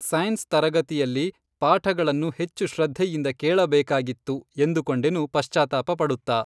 science ತರಗತಿಯಲ್ಲಿ ಪಾಠಗಳನ್ನು ಹೆಚ್ಚು ಶ್ರದ್ಧೆಯಿಂದ ಕೇಳ ಬೇಕಾಗಿತ್ತು, ಎಂದುಕೊಂಡೆನು ಪಶ್ಚಾತ್ತಾಪ ಪಡುತ್ತಾ